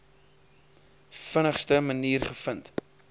vinnigste manier gevind